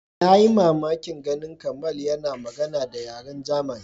Na yi mamakin ganin Kamal yana magana da yaren German.